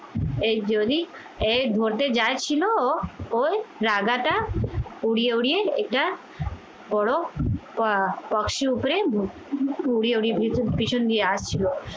এই জলি এই ধরতে যা ছিল ওই রাগাটা উড়িয়ে উড়িয়ে এটা করো আহ বক্সির উপরে পিছন দিয়ে আসছিলো